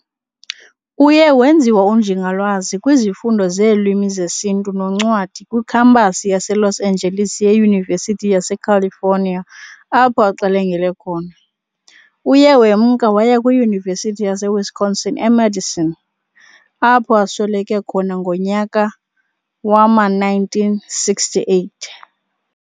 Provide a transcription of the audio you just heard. Uye wenziwa uNjingalwazi kwizifundo zeeLwimi zeSintu noNcwadi kwiKhampasi yaseLos Angeles ye-Yunivesity yaseCalifonia apho axelengele khona. Uye wemka waya kwiYunivesithi yaseWisconsin eMadison, apho asweleke khona ngomnyaka wama-1968.